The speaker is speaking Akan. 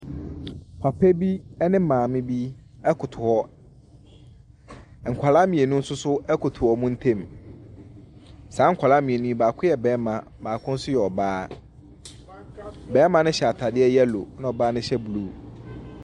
Papa bi ne maame bi koto hɔ. Nkwadaa mmienu nso so koto wɔn ntam. Saa nkwadaa mmienu yi, baako yɛ barima, baako nso yɛ ɔbaa. Barima no hyɛ atadeɛ yellow, ɛna ɔbaa no hyɛ blue.